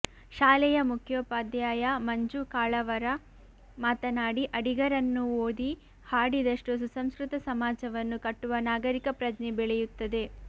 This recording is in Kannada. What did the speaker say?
ಶಾಲೆಯ ಮುಖ್ಯೋಪಧ್ಯಾಯ ಮಂಜು ಕಾಳಾವರ ಮಾತನಾಡಿ ಅಡಿಗರನ್ನು ಓದಿ ಹಾಡಿದಷ್ಟೂ ಸುಸಂಸ್ಕೃತ ಸಮಾಜವನ್ನು ಕಟ್ಟುವ ನಾಗರಿಕ ಪ್ರಜ್ಞೆ ಬೆಳೆಯುತ್ತದೆ